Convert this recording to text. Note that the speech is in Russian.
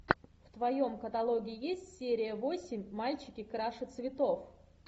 в твоем каталоге есть серия восемь мальчики краше цветов